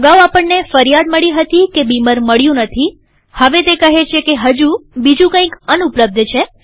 અગાઉ આપણને ફરિયાદ મળી હતી કે બીમર મળ્યું નથીહવે તે કહે છે કે હજુ બીજું કંઈક અનુપલબ્ધ છે